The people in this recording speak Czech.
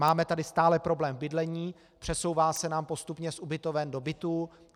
Máme tady stále problém v bydlení, přesouvá se nám postupně z ubytoven do bytů.